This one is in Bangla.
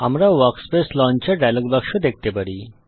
আমরা ওয়ার্কস্পেস লঞ্চার ডায়ালগ বাক্স পাই